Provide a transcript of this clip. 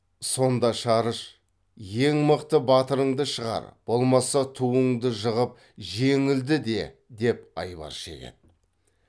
сонда шарыш ең мықты батырыңды шығар болмаса туыңды жығып жеңілді де деп айбар шегеді